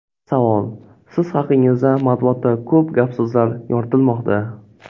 Savol: Siz haqingizda matbuotda ko‘p gap-so‘zlar yoritilmoqda.